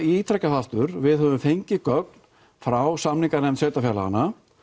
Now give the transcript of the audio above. ítreka það aftur við höfum fengið gögn frá samninganefnd sveitarfélaganna